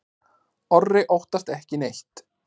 Otti óttast ekki neitt!